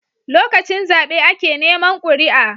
Lokacin zabe ake Neman kuria